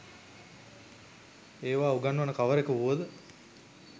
ඒවා උගන්වන කවරෙකු වුව ද